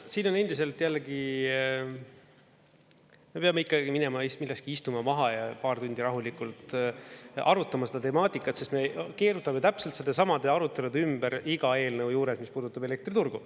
Siin on endiselt, jällegi, me peame ikkagi minema millalgi istuma maha ja paar tundi rahulikult arutama seda temaatikat, sest me keerutame täpselt samade arutelude ümber iga eelnõu juures, mis puudutab elektriturgu.